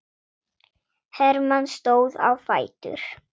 Hermann stóð á fætur.